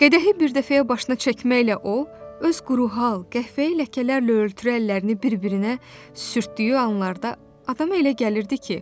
Qədəhi bir dəfəyə başına çəkməklə o, öz quru, hal qəhvəyi ləkələrlə örtülü əllərini bir-birinə sürtdüyü anlarda adama elə gəlirdi ki,